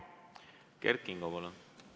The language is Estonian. Kert Kingo, palun!